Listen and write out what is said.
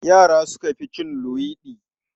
Yara suka fi cin luwaiɗi.